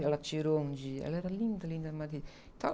Ela tirou um dia... Ela era linda, linda, a Madre .uyiuyiuy